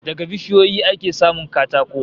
Daga bishiyoyi ake samun katako